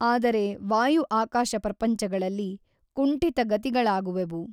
ಆದರೆ ವಾಯು ಆಕಾಶ ಪ್ರಪಂಚಗಳಲ್ಲಿ ಕುಂಠಿತಗತಿಗಳಾಗುವೆವು.